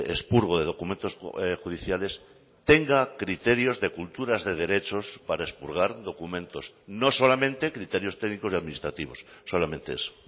expurgo de documentos judiciales tenga criterios de culturas de derechos para expurgar documentos no solamente criterios técnicos y administrativos solamente eso